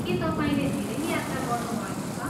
के तपाईँले धेरै यात्रा गर्नुभएको छ?